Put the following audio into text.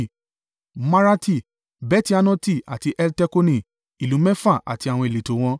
Maarati, Beti-Anoti àti Eltekoni: ìlú mẹ́fà àti àwọn ìletò wọn.